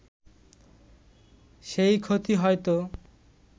সেই ক্ষতি হয়ত